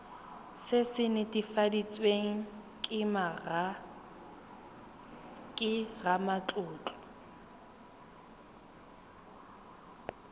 se se netefaditsweng ke ramatlotlo